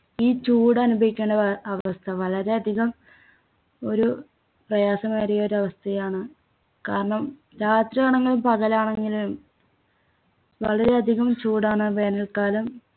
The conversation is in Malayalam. ഈ ചൂടനുഭവിക്കേണ്ടവ അവസ്ഥ വളരെയധികം ഒരു പ്രയാസമേറിയ ഒരു അവസ്ഥയാണ് കാരണം രാത്രിയാണെങ്കിലും പകലാണെങ്കിലും വളരെയധികം ചൂടാണ് വേനൽക്കാലം